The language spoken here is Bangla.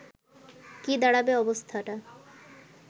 কি দাঁড়াবে অবস্থাটা